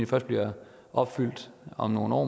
først bliver opfyldt om nogle år